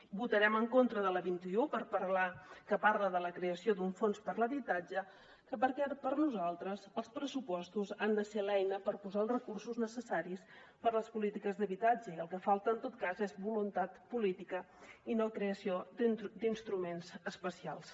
votarem en contra de la vint un que parla de la creació d’un fons per a l’habitatge perquè per nosaltres els pressupostos han de ser l’eina per posar els recursos necessaris per a les polítiques d’habitatge i el que falta en tot cas és voluntat política i no creació d’instruments especials